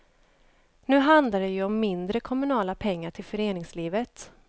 Nu handlar det ju om mindre kommunala pengar till föreningslivet.